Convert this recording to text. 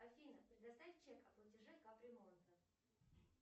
афина предоставь чек о платеже капремонта